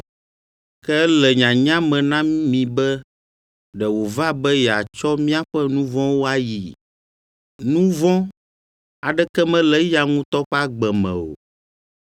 Ke ele nyanya me na mi be ɖe wòva be yeatsɔ míaƒe nu vɔ̃wo ayii. Nu vɔ̃ aɖeke mele eya ŋutɔ ƒe agbe me o.